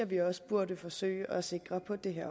vi også burde forsøge at sikre på det her